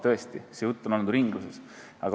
Jah, see jutt on olnud ringluses.